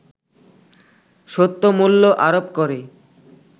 সত্যমূল্য আরোপ করে